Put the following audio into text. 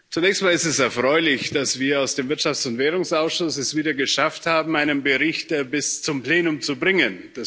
Zunächst einmal ist es erfreulich, dass wir aus dem Wirtschafts und Währungsausschuss es wieder einmal geschafft haben, einen Bericht bis zum Plenum zu bringen.